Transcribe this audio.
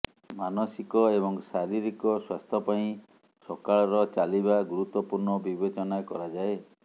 ମାନସିକ ଏବଂ ଶାରୀରିକ ସ୍ୱାସ୍ଥ୍ୟ ପାଇଁ ସକାଳର ଚାଲିବା ଗୁରୁତ୍ୱପୂର୍ଣ୍ଣ ବିବେଚନା କରାଯାଏ